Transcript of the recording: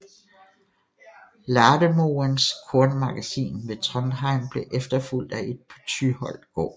Lademoens kornmagasin ved Trondheim blev efterfulgt af et på Tyholt gård